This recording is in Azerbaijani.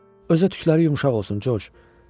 Özü də tükləri yumşaq olsun, Corc.